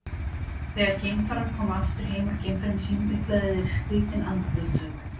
þegar geimfarar koma aftur heim úr geimferðum sínum upplifa þeir skrýtin andartök